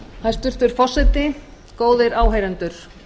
hæstvirtur forseti góðir áheyrendur